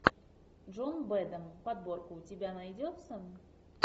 джон бэдэм подборка у тебя найдется